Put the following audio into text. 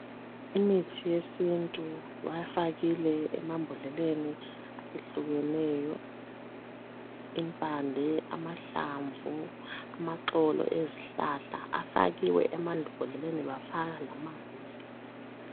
Imithi yesintu bayifakile emambodleleni ehlukeneyo impande, amahlamvu, amaxolo ezihlahla afakiwe emambodleleni bafaka lamanzi.